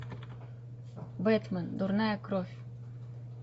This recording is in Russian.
бэтмен дурная кровь